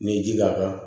N'i ye ji k'a kan